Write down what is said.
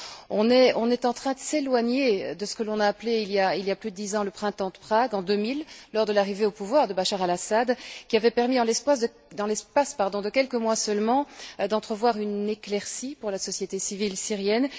On est en train de s'éloigner de ce que l'on a appelé il y a plus de dix ans le Printemps de Prague, en 2000, lors de l'arrivée au pouvoir de Bachar El Assad, qui avait permis, en l'espace de quelques mois seulement, d'entrevoir une éclaircie pour la société civile syrienne.